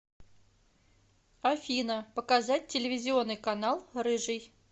афина показать телевизионный канал рыжий